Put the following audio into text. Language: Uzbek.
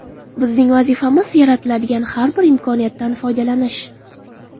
Bizning vazifamiz - yaratiladigan har bir imkoniyatdan foydalanish.